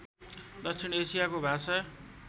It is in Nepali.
दक्षिण एसियाको भाषा